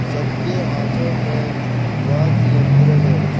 सबके हाथों में वाद्य यंत्र है।